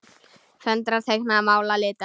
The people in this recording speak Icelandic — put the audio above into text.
Föndra- teikna- mála- lita